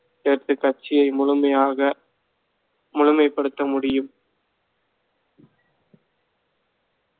சேர்த்து கட்சியை முழுமையாக முழுமைப்படுத்த முடியும்